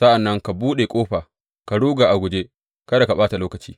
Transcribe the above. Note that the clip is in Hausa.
Sa’an nan ka buɗe ƙofa ka ruga a guje; kada ka ɓata lokaci!